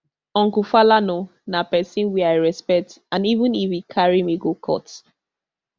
uncle falana na pesin wey i respect and even if e carry me go court